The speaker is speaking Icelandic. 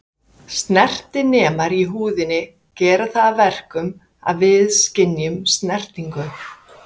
Snertinemar í húðinni gera það að verkum að við skynjum snertingu.